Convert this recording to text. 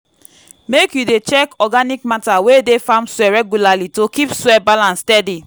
make you dey check organic matter wey dey farm soil regularly to keep soil balance steady